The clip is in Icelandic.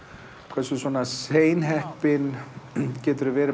hversu seinheppinn geturðu verið